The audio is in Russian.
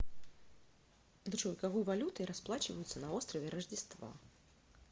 джой какой валютой расплачиваются на острове рождества